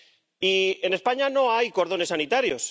Y en España no hay cordones sanitarios